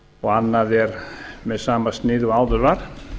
og annað er með sama sniði og áður var